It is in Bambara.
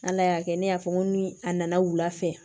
Ala y'a kɛ ne y'a fɔ n ko ni a nana wula fɛ